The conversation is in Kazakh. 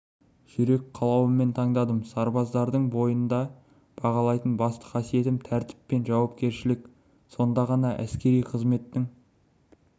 жүрек қалауымен таңдадым сарбаздардың бойында бағалайтын басты қасиетім тәртіп пен жауапкершілік сонда ғана әскери қызметтің